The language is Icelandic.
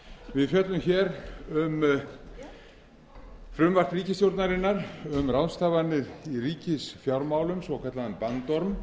við fjöllum hér um frumvarp ríkisstjórnarinnar um ráðstafanir í ríkisfjármálum svokallaðan bandorm